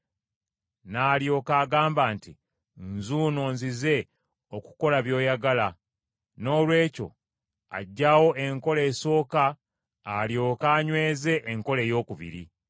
n’alyoka agamba nti, “Nzuuno nzize okukola by’oyagala.” Noolwekyo aggyawo enkola esooka alyoke anyweze enkola eyookubiri.